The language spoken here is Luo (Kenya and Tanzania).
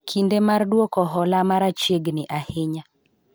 kinde mar duoko hola mara chiegni ahinya